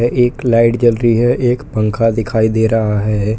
एक लाइट जल रही है एक पंखा दिखाई दे रहा है।